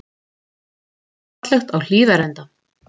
Grænt og fallegt á Hlíðarenda